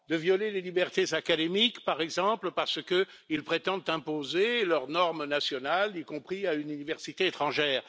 De violer les libertés académiques, par exemple, parce qu'ils prétendent imposer leurs normes nationales, y compris à une université étrangère.